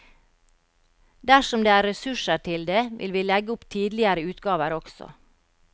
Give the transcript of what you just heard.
Dersom det er ressurser til det vil vi legge opp tidligere utgaver også.